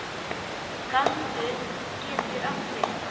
Galdur getur átt við